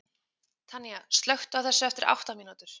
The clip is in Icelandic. Tanía, slökktu á þessu eftir átta mínútur.